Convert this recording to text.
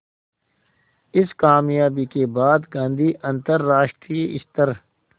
इस क़ामयाबी के बाद गांधी अंतरराष्ट्रीय स्तर